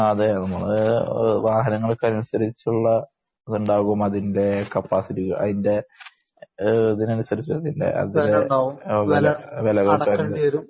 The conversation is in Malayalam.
ആ അതേ നമ്മള് വാഹനങ്ങൾക്ക് അതിനനുസരിച്ചുള്ള ഇതുണ്ടാകും അതിന്റെ കപ്പാസിറ്റിക്ക് അതിന്റെ എ ഇതിനനുസരിച്ച് വില കൊടുക്കേണ്ടിവരും